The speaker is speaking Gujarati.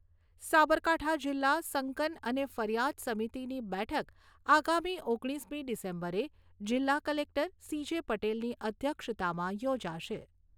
સાબરકાંઠા જિલ્લા સંકન અને ફરિયાદ સમિતિની બેઠક આગામી ઓગણીસમી ડિસેમ્બરે જિલ્લા કલેક્ટર સી.જે. પટેલની અધ્યક્ષતામાં યોજાશે.